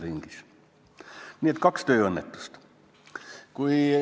Nii et kaks tööõnnetust.